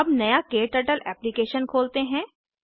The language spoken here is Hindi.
अब नया क्टर्टल एप्लिकेशन खोलते हैं